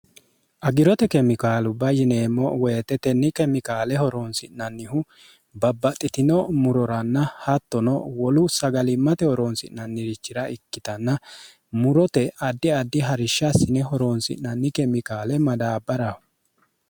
agirote kemikaalu bayyineemmo woyite tenni kemikaale horoonsi'nannihu babbaxxitino muroranna hattono wolu sagalimmate horoonsi'nannirichira ikkitanna murote addi addi harishshassine horoonsi'nanni kemikaale madaabbaraho